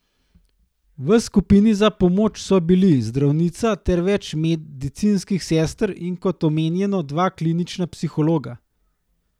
V skupini za pomoč so bili zdravnica ter več medicinskih sester in kot omenjeno dva klinična psihologa.